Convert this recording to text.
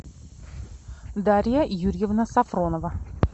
дарья юрьевна сафронова